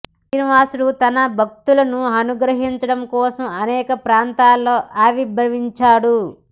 శ్రీనివాసుడు తన భక్తులను అనుగ్రహించడం కోసం అనేక ప్రాంతాల్లో ఆవిర్భవించాడు